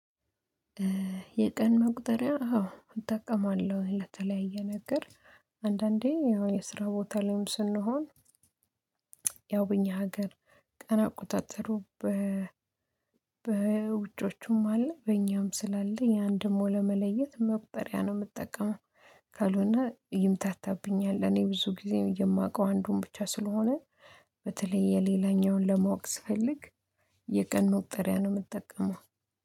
የቀን መቁጠሪያ አዎ እጠቀማለሁ ለተለያየ ነገር። አንዳንዴ ያው የስራ ቦታ ላይም ስንሆን። ያው በእኛ ሀገር ቀን አቆጣጠሩ በ በውጮቹም አለ በእኛም ስላለ ያንደግሞ ለመለየት መቁጠሪያ ነው የምጠቀመው። ካልሆነ ይምታታብኛል እኔ ብዙ ጊዜ የማውቀው አንዱን ብቻ ስለሆነ በተለይ የሌላኛውን ለማወቅ ስፈልግ። የቀን መቁጠሪያ ነው የምጠቀመው